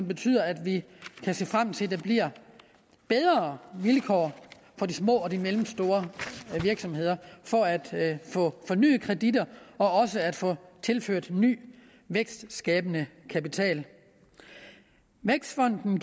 betyder at vi kan se frem til at der bliver bedre vilkår for de små og mellemstore virksomheder for at få fornyet kreditter og at få tilført ny vækstskabende kapital vækstfonden